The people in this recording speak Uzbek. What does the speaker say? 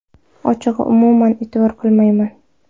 Ochig‘i, umuman e’tibor qilmayman.